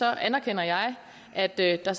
anerkender jeg at der der